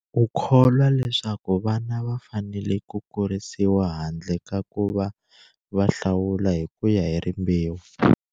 U kholwa leswaku vana va fanele ku kurisiwa handle ka ku va hlawula hi ku ya hi rimbewu.